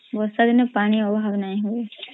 ବର୍ଷା ଦିନେ ପାଣି ଅଭାବ୍ ନଇ ହୁଏ